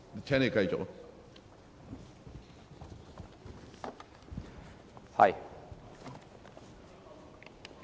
請你繼續發言。